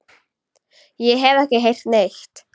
Ég hef ekki heyrt neitt.